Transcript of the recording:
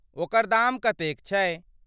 ओकर दाम कतेक छै?